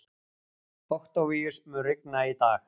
Októvíus, mun rigna í dag?